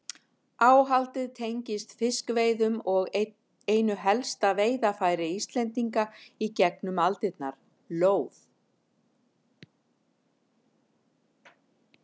Áhaldið tengist fiskveiðum og einu helsta veiðarfæri Íslendinga í gegnum aldirnar, lóð.